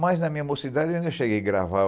Mas na minha mocidade eu ainda cheguei a gravar